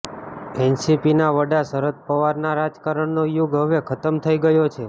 એનસીપીના વડા શરદ પવારના રાજકારણનો યુગ હવે ખતમ થઈ ગયો છે